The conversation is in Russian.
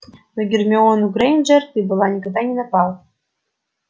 на гермиону грэйнджер ты была никогда не напал